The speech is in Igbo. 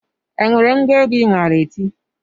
E nwere ngwa egwu I maara eti?